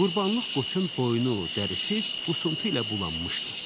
Qurbanlıq qoçun boynu, dərisi qüsuntu ilə bulanmışdı.